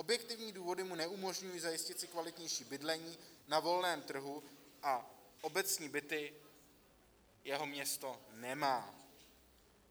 Objektivní důvody mu neumožňují zajistit si kvalitnější bydlení na volném trhu a obecní byty jeho město nemá.